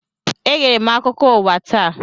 Egere m akụkọ ụwa taa.